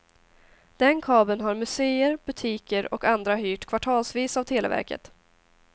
Den kabeln har museer, butiker och andra hyrt kvartalsvis av televerket.